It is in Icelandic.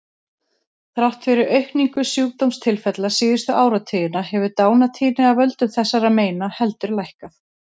Þrátt fyrir aukningu sjúkdómstilfella síðustu áratugina hefur dánartíðni af völdum þessara meina heldur lækkað.